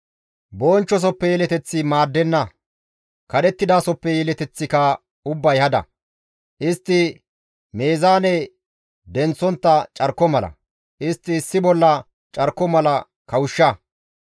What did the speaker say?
Bonchchosoppe yeleteththi maaddenna; kadhettidasoppe yeleteththika ubbay hada. Istti meezaane denththontta carko mala; istti issi bolla carko mala kawushsha.